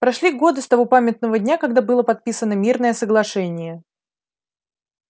прошли годы с того памятного дня когда было подписано мирное соглашение